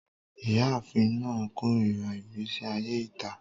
Iyaafin naa korira igbesi aye ita